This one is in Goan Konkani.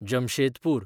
जमशेदपूर